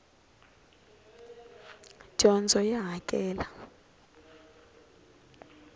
dyondzo ya hakela